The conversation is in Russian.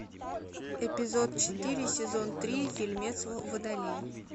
эпизод четыре сезон три фильмец водолей